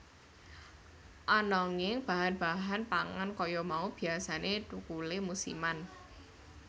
Ananging bahan bahan pangan kaya mau biyasané thukulé musiman